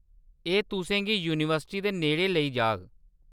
एह्‌‌ तुसें गी यूनिवर्सिटी दे नेड़ै लेई जाग।